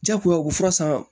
Jagoya u bɛ fura san